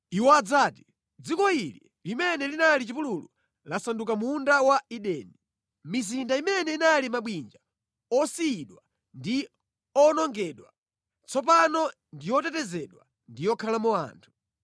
Iwo adzati, ‘Dziko ili, limene linali chipululu, lasanduka munda wa Edeni. Mizinda imene inali mabwinja osiyidwa ndi owonongedwa, tsopano ndi yotetezedwa ndi yokhalamo anthu.